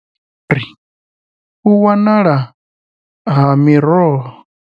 U wanala ha miroho.